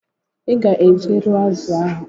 Iga eje rụọ azu ahu